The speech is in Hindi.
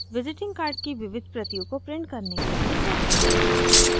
visiting card की विविध प्रतियों को print करने के लिए settings